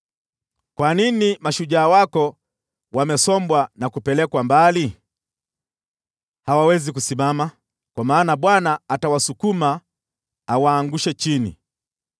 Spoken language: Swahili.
Kwa nini mashujaa wako wamesombwa na kupelekwa mbali? Hawawezi kusimama, kwa maana Bwana atawasukuma awaangushe chini.